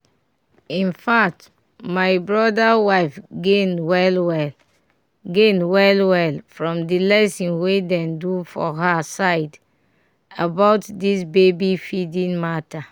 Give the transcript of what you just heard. in fact my brother wife gain well well gain well well from the lesson wey dem do for her side about this baby feeding matter